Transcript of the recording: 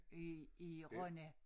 i i Rønne